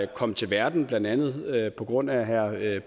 kom til verden blandt andet på grund af herre